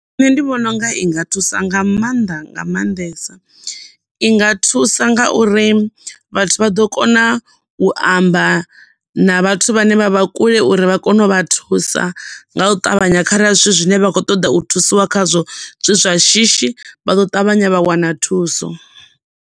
Nṋe ndi vhona unga i nga thusa nga maanḓa nga maanḓesa, i nga thusa nga uri vhathu vha ḓo kona u amba na vhathu vhane vha vha kule uri vha kone u vha thusa nga u ṱavhanya kharali zwithu zwine vha kho ṱoḓa u thusiwa khazwo zwi zwashishi vha ḓo ṱavhanya vha wana thuso.